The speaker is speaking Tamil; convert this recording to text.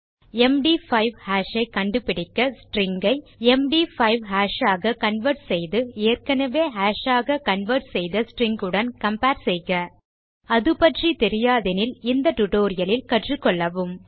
எம்டி5 ஹாஷ் ஐ கண்டுபிடிக்க ஸ்ட்ரிங் ஐ எம்டி5 ஹாஷ் ஆக கன்வெர்ட் செய்து ஏற்கெனெவே ஹாஷ் ஆக கன்வெர்ட் செய்த ஸ்ட்ரிங் உடன் கம்பேர் செய்க அதுப்பற்றி தெரியாதெனில் இந்த டியூட்டோரியல் இல் கற்றுக்கொள்வோம்